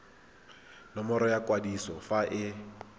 nomoro ya kwadiso fa e